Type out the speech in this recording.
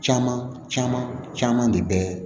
Caman caman de bɛ